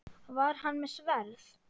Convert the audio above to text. Var hann með sverð?